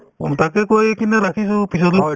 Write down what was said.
উম, তাকে কৈ কিনে ৰাখিছো পিছতো